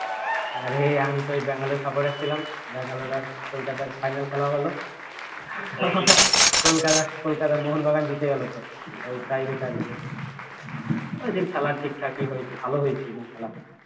আরে আমি তো ওই ব্যাঙ্গালোর supporter ছিলাম ব্যাঙ্গালোর আর কলকাতার final খেলা হলো কলকাতা কলকাতা মোহনবাগান জিতে গেল তো ওই tie breaker এ ওইদিন খেলা ঠিকঠাকই হয়েছে ভাল হয়েছে ওইদিন খেলা